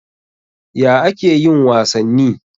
Ya ake yin wasanni?